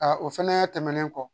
o fɛnɛ tɛmɛnen kɔ